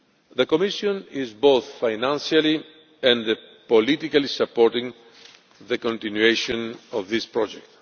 The Commission is both financially and politically supporting the continuation of this project.